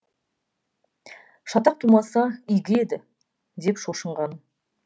шатақ тумаса игі еді деп шошынғаным